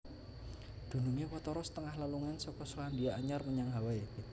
Dunungé watara setengah lelungan saka Selandia Anyar menyang Hawaii